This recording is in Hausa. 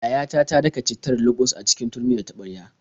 Yayata ta daka cittar luɓus a cikin turmi da taɓarya.